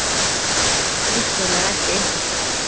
Líf þeirra er ekki einfalt!